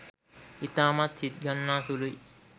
ඉතාමත් සිත් ගන්නා සුළුයි